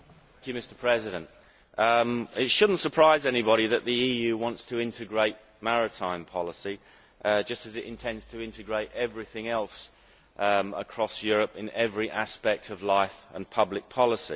Mr President, it should not surprise anybody that the EU wants to integrate maritime policy, just as it intends to integrate everything else across Europe in every aspect of life and public policy.